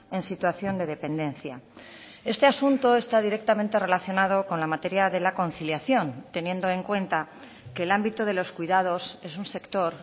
en situación de dependencia este asunto está directamente relacionado con la materia de la conciliación teniendo en cuenta que el ámbito de los cuidados es un sector